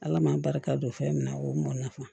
Ala man barika don fɛn min na o mɔn nafa